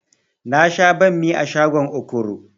Na sha banmi a shagon okoro